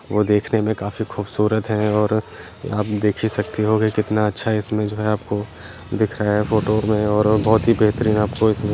वो देखने में काफी खूबसूरत है और आप देख ही सकते होगे कितना अच्छा इसमें जो है आपको दिख रहा है फोटो में और बहोत ही बेहतरीन आपको इसमें --